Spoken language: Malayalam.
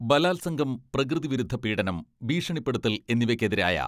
ബലാത്സംഗം, പ്രകൃതിവിരുദ്ധ പീഡനം, ഭീഷണിപ്പെടുത്തൽ എന്നിവയ്ക്കെതിരായ